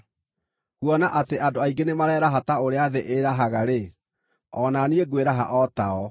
Kuona atĩ andũ aingĩ nĩmareraha ta ũrĩa thĩ ĩĩrahaga-rĩ, o na niĩ ngwĩraha o tao.